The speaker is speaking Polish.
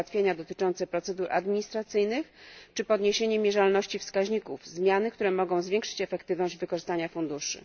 ułatwienia dotyczące procedur administracyjnych czy podniesienie mierzalności wskaźników zmiany, które mogą zwiększyć efektywność wykorzystania funduszy.